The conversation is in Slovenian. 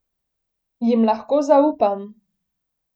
Jim lahko zaupam?